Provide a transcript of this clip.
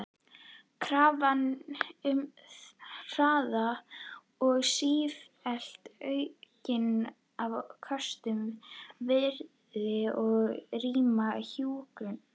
Krafan um hraða og sífellt aukin afköst virtist rýra hjúkrunina.